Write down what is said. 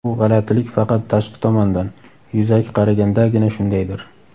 bu "g‘alatilik" faqat tashqi tomondan – yuzaki qaragandagina shundaydir.